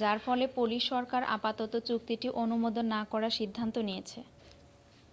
যার ফলে পোলিশ সরকার আপাতত চুক্তিটি অনুমোদন না করার সিদ্ধান্ত নিয়েছে।